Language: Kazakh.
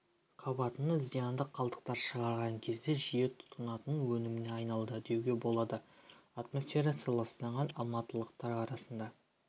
қабатына зиянды қалдықтар шығарған кезде жиі тұтынатын өніміне айналды деуге болады атмосферасы ластанған алматылықтар арасында